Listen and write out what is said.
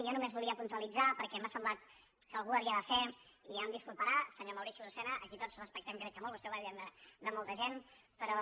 jo nomes volia puntualitzar perquè m’ha semblat que algú ho havia de fer i ja em disculparà senyor mau·rici lucena a qui tots respectem crec que molt vostè ho va dient de molta gent però